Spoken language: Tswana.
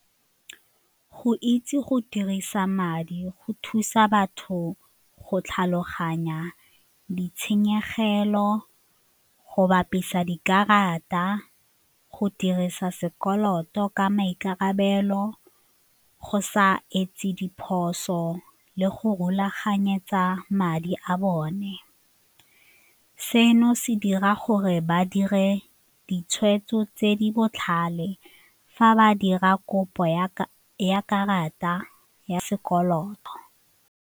Go itse go dirisa madi go thusa batho go tlhaloganya ditshenyegelo, go bapisa dikarata, go dirisa sekoloto ka maikarabelo, go sa etse diphoso le go rulaganyetsa madi a bone. Seno se dira gore ba dire ditshwetso tse di botlhale fa ba dira kopo ya karata ya sekoloto.